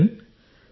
captain